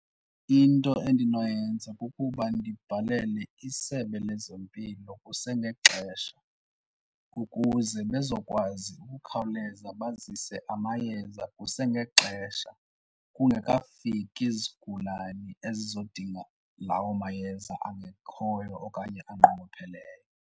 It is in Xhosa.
Into endinoyenza kukuba ndibhalele isebe lezempilo kusengexesha ukuze bezokwazi ukukhawuleza bazise amayeza kusengexesha, kungekafiki zigulane ezizodinga lawo mayeza angekhoyo okanye anqongopheleyo.